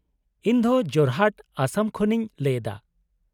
-ᱤᱧ ᱫᱚ ᱡᱳᱨᱦᱟᱴ, ᱚᱥᱚᱢ ᱠᱷᱚᱱ ᱤᱧ ᱞᱟᱹᱭ ᱮᱫᱟ ᱾